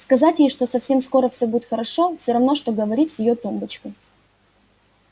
сказать ей что совсем скоро всё будет хорошо всё равно что говорить с её тумбочкой